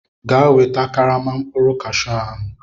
Gaa weta karama mkpụrụ Kashu ahụ!